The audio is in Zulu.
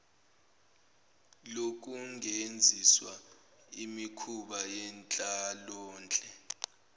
lokungenziswa imikhuba yenhlalonhle